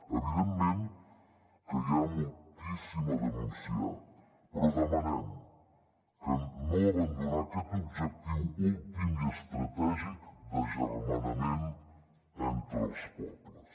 evidentment que hi ha moltíssim a denunciar però demanem no abandonar aquest objectiu últim i estratègic d’agermanament entre els pobles